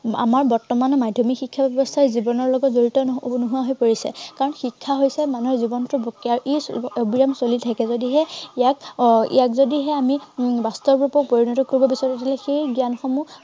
আমাৰ বৰ্তমান মাধ্য়মিক শিক্ষা ব্য়ৱস্থাই জীৱনৰ লগত জড়িত আহ নোহোৱা হৈ পৰিছে। কাৰন শিক্ষা হৈছে মানুহৰ জীৱনটো আৰু ই অৱিৰাম চলি থাকে, যদিহে ইয়াক আহ ইয়াক যদিহে আমি উম বাস্তৱ ৰূপত পৰিণত কৰিব বিচাৰো, তেনেহলে সেই জ্ঞানসমূহ